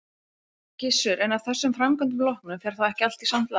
Gissur: En af þessum framkvæmdum loknum, fer þá ekki allt í samt lag?